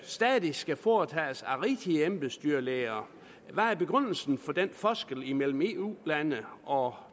stadig skal foretages af rigtige embedsdyrlæger hvad er begrundelsen for den forskel her imellem eu lande og